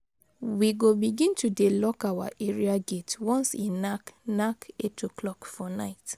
We go begin to dey lock our area gate once e nak nak 8:00 for night.